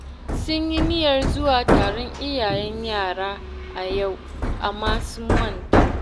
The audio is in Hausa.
Sun yi niyyar zuwa taron iyayen yara a yau, amma sun manta